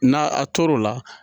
N'a a tor'o la